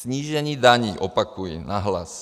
Snížení daní - opakuji nahlas.